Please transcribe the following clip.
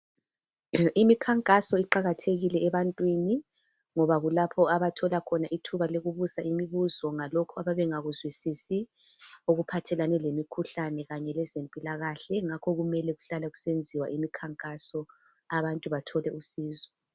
Imikhankaso iqakathekile ebantwini ngoba kulapho abathola khona ithuba lokubuza imibuzo ngalokho ababengakuzwisisi okuphathelane lemikhuhlane kanye lezempilakahle yingakho kumele kuhlale kusenziwa imikhankaso abantu bathole usizo.